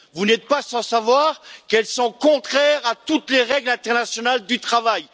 Vous n'êtes pas sans savoir qu'elle est contraire à toutes les règles internationales du travail.